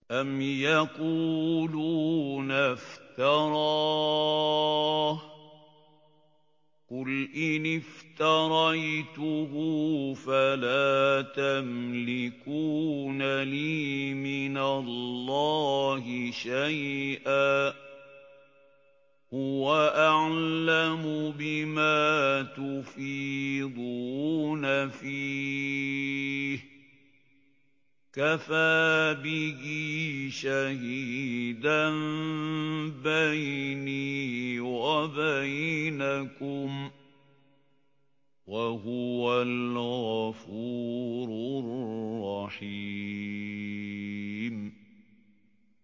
أَمْ يَقُولُونَ افْتَرَاهُ ۖ قُلْ إِنِ افْتَرَيْتُهُ فَلَا تَمْلِكُونَ لِي مِنَ اللَّهِ شَيْئًا ۖ هُوَ أَعْلَمُ بِمَا تُفِيضُونَ فِيهِ ۖ كَفَىٰ بِهِ شَهِيدًا بَيْنِي وَبَيْنَكُمْ ۖ وَهُوَ الْغَفُورُ الرَّحِيمُ